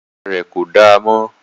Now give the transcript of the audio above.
Bàtà rẹ̀ kò damọ́